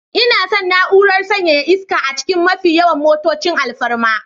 Ina son na'urar sanyaya iska a cikin mafi yawan motocin alfarma